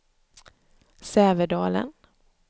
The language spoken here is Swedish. Sävedalen